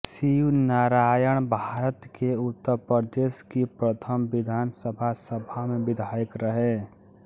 शिव नारायणभारत के उत्तर प्रदेश की प्रथम विधानसभा सभा में विधायक रहे